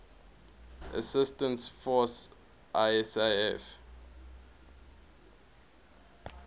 assistance force isaf